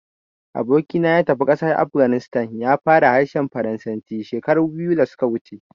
Aboki na ya tafi ƙasar Afghanistan, ya fara harshen Faransanci shekaru biyu da su ka wuce